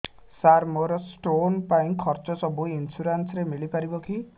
ସାର ମୋର ସ୍ଟୋନ ପାଇଁ ଖର୍ଚ୍ଚ ସବୁ ଇନ୍ସୁରେନ୍ସ ରେ ମିଳି ପାରିବ କି